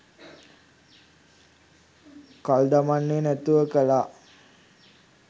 කල් දමන්නේ නැතුව කළා